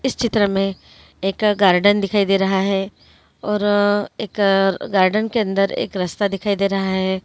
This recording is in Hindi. इस चित्र में एक गार्डन दिखाई दे रहा है। और एक गार्डन के अंदर एक रास्ता दिखाई दे रहा है।